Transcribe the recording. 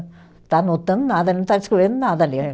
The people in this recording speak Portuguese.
Está anotando nada, Não está nada,